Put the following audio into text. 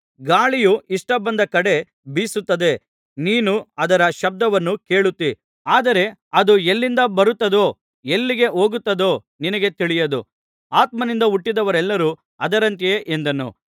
ಗಾಳಿಯು ಇಷ್ಟ ಬಂದ ಕಡೆ ಬೀಸುತ್ತದೆ ನೀನು ಅದರ ಶಬ್ದವನ್ನು ಕೇಳುತ್ತೀ ಆದರೆ ಅದು ಎಲ್ಲಿಂದ ಬರುತ್ತದೋ ಎಲ್ಲಿಗೆ ಹೋಗುತ್ತದೋ ನಿನಗೆ ತಿಳಿಯದು ಆತ್ಮನಿಂದ ಹುಟ್ಟಿದವರೆಲ್ಲರೂ ಅದರಂತೆಯೇ ಎಂದನು